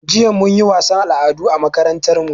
Jiya mun yi wasan al'adu a makarantan mu